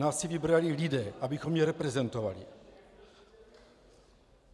Nás si vybrali lidé, abychom je reprezentovali.